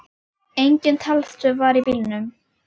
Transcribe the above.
Engin talstöð var í bílnum.